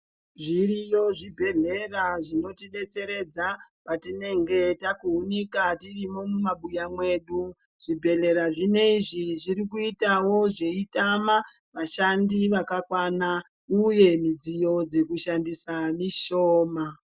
Zviriyo zvibhedhlera zvinotidetseredza patinge takuunika tirimwo mumabuya mwedu zvibhedhlera zvinezvi zvirikuitawo zveitama vashandi zvakakwana uye midziyo dzekushandisa mishoma.